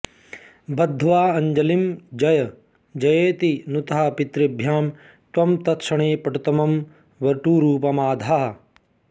बद्ध्वाञ्जलिं जय जयेति नुतः पितृभ्यां त्वं तत्क्षणे पटुतमं वटुरूपमाधाः